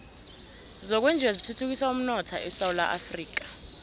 zokwenjiwa zithuthukisa umnotho esewula afrika